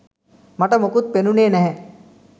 මට මොකුත් පෙනුනේ නැහැ.